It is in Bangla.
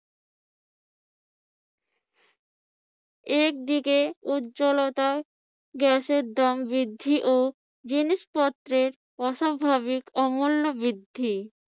একদিকে উজ্জ্বলতা, গ্যাসের দাম বৃদ্ধি ও জিনিসপত্রের অস্বাভাবিক ও মূল্য বৃদ্ধি